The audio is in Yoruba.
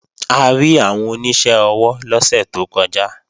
A rí àwọn oníṣẹ́ ọwọ́ lọ́sẹ̀ tó kọjá